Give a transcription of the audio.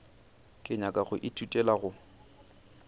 ke nyaka go ithutela go